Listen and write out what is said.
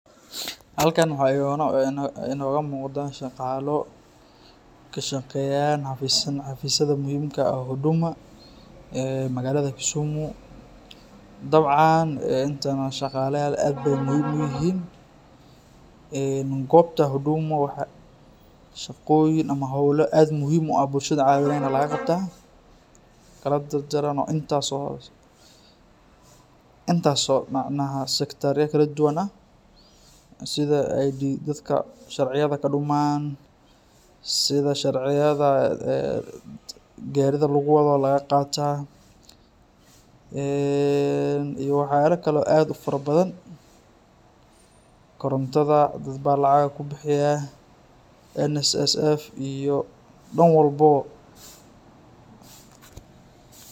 Halkaan waxaa inooga muuqdaa shaqaalo kashaqeyaan xafiisyada muhimka ah oo huduma .ee magaalada Kisumu ,dabcaan intan oo shaqalayaal aad beey muhiim u yihiin. Goobta huduma waxaa shaqoyin ama howlo muhim u ah bulshada cawinayaana laga qabtaa .Intaas oo macnaha sectar ya kala duwan ah ,sida ID, sida dadka sharciyada kadhumaan ,sida sharciyada gaarida lagu wado oo laga qaata , iyo waxyaala kale oo aad ufara badan .Korontada dad baa lacaga kubixiyaa ,NSSF iyo dhan walboo..